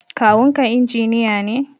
Kawunka injiniya ne?